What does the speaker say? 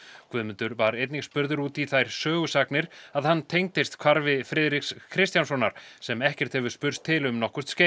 Guðmundur var einnig spurður út í þær sögusagnir að hann tengdist hvarfi Friðriks Kristjánssonar sem ekkert hefur spurst til um nokkurt skeið